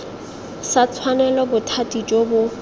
sa tshwanela bothati jo bo